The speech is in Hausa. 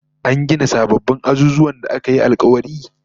An gina sababbin azuzuwan da aka yi alkawari?